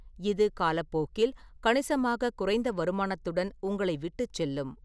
இது காலப்போக்கில் கணிசமாக குறைந்த வருமானத்துடன் உங்களை விட்டுச்செல்லும்.